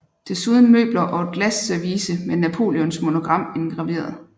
Desuden møbler og et glasservice med Napoleons monogram indgraveret